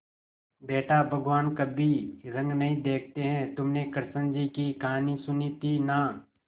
बेटा भगवान कभी रंग नहीं देखते हैं तुमने कृष्ण जी की कहानी सुनी थी ना